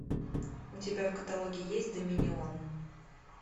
у тебя в каталоге есть доминион